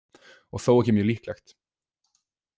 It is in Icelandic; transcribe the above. Og þó ekki mjög líklegt.